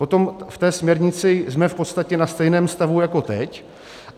Potom v té směrnici jsme v podstatě na stejném stavu jako teď.